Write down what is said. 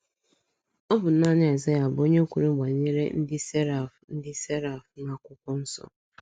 Ọ bụ naanị Aịzaya bụ onye kwuru banyere ndị seraf ndị seraf n'akwụkwọ nso.